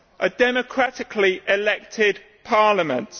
a democratically elected Parliament.